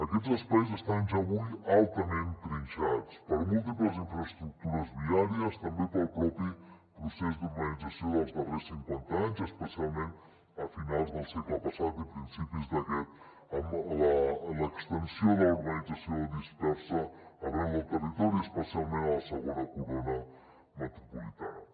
aquests espais estan ja avui altament trinxats per múltiples infraestructures viàries també pel propi procés d’urbanització dels darrers cinquanta anys especialment a finals del segle passat i principis d’aquest amb l’extensió de la urbanització dispersa arreu del territori especialment a la segona corona metropolitana